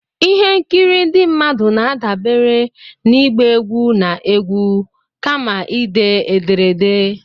ihe nkiri ndị mmadụ na-adabere na ịgba egwu na egwu, kama ide ederede